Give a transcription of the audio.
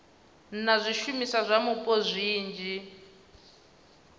na zwishumiswa zwa mupo zwinzhi